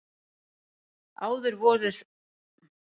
Áður voru þær örfáar.